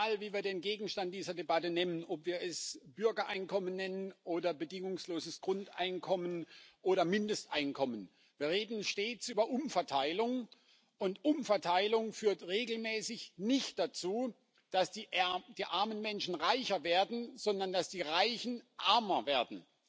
Egal, wie wir den Gegenstand dieser Debatte nennen, ob wir es Bürgereinkommen nennen oder bedingungsloses Grundeinkommen oder Mindesteinkommen Wir reden stets über Umverteilung, und Umverteilung führt regelmäßig nicht dazu, dass die armen Menschen reicher werden, sondern dass die Reichen ärmer werden.